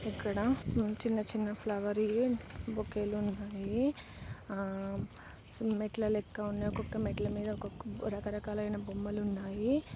ఇక్కడ ఉంచిన చిన్న ఫ్లవర్స్ బొకే లు ఉన్నాయి. ఆ-ఆ సమ్మెట్ల లాగా మెట్లలెక్క ఉన్న ఒక్కొక్క మెట్ల మీద ఒక్కొక్క రకరకాల బొమ్మలున్నాయి.